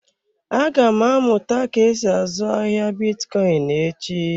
Aga m amụta ka esi azụ ahịa bitcoin echi.